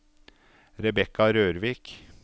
Rebekka Rørvik